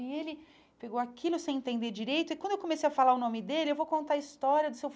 E ele pegou aquilo sem entender direito, e quando eu comecei a falar o nome dele, eu vou contar a história do Sr.